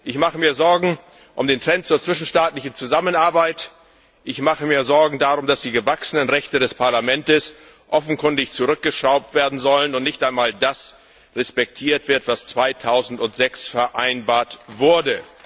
Ich mache mir Sorgen um den Trend zur zwischenstaatlichen Zusammenarbeit, ich mache mir Sorgen darum, dass die gewachsenen Rechte des Parlaments offenkundig zurückgeschraubt werden sollen und nicht einmal das respektiert wird, was 2006 vereinbart wurde.